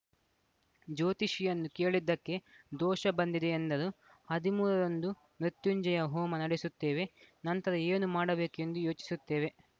ಜ್ಯೋತಿಷಿಯನ್ನು ಕೇಳಿದ್ದಕ್ಕೆ ದೋಷ ಬಂದಿದೆ ಎಂದರು ಹದಿಮೂರ ರಂದು ಮೃತ್ಯುಂಜಯ ಹೋಮ ನಡೆಸುತ್ತೇವೆ ನಂತರ ಏನು ಮಾಡಬೇಕು ಎಂದು ಯೋಚಿಸುತ್ತೇವೆ